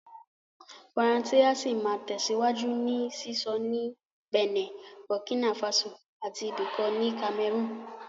Faransé á sì máa tẹ̀síwájú ní sísọ ní Bẹ̀nẹ̀, Burkina Faso àti ibì kan ní Cameroon